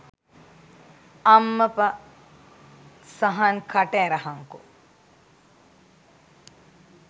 අම්මප සහන් කට ඇරහංකො